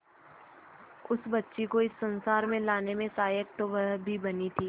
उस बच्ची को इस संसार में लाने में सहायक तो वह भी बनी थी